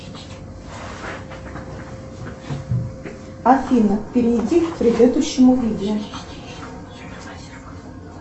афина перейди к предыдущему видео